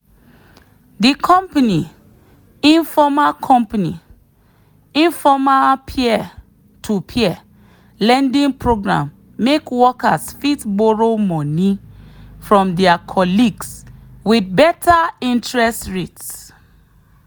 the company informal company informal peer-to-peer lending program make workers fit borrow money from their colleagues with better interest rate.